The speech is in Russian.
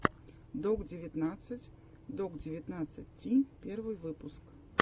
док девятнадцать док девятнадцать ти первый выпуск